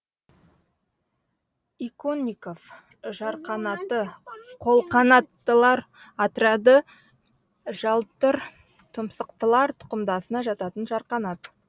иконников жарқанаты қолқанаттылар отряды жалтыртұмсықтылар тұқымдасына жататын жарқанат